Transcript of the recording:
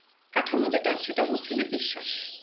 কাঠামো যেটা সেটা হচ্ছে যে বিশ্বাস